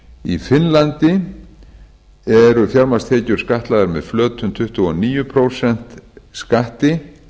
í finnlandi eru fjármagnstekjur skattlagðar með flötum tuttugu og níu prósent skatti